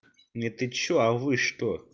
не ты что а вы что